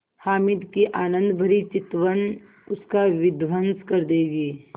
हामिद की आनंदभरी चितवन उसका विध्वंस कर देगी